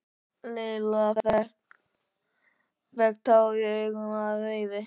Lilla fékk tár í augun af reiði.